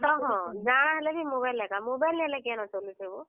ହଁ ତ ହଁ, ଜଣା ହେଲେ ବି mobile ଦରକାର୍ mobile ନି ହେଲେ ବି କେନୁ ଚଲୁଛ ହୋ।